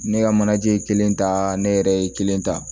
Ne ka manaje kelen ta ne yɛrɛ ye kelen ta